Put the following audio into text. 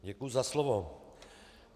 Děkuji za slovo.